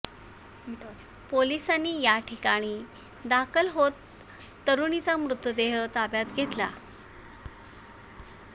पोलिसांनी या ठिकाणी दाखल होत तरुणीचा मृतदेह ताब्यात घेतला